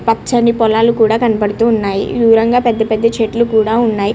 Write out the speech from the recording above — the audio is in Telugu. పచని పొలాలు కూడా కనిపిస్తుంయి దూరంగా పెద్ద పెద్ద చెట్లు కూడా ఉన్నాయ్.